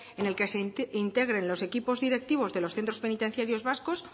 en el que se integre los equipos directivos de los centros penitenciarios vascos